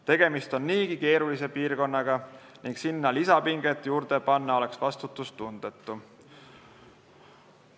Tegemist on niigi keerulise piirkonnaga ning sinna lisapinget juurde tekitada oleks vastutustundetu.